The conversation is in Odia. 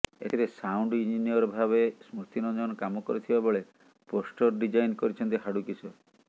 ଏଥିରେ ସାଉଣ୍ଡ ଇଞ୍ଜିନିୟର ଭାବେ ସ୍ମୃତିରଞ୍ଜନ କାମ କରିଥିବା ବେଳେ ପୋଷ୍ଟର ଡ଼ିଜାଇନ୍ କରିଛନ୍ତି ହାଡ଼ୁ କିଶୋର